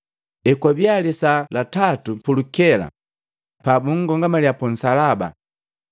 Ekwabia lisaa la tatu pulukela pabunkomangalya punsalaba.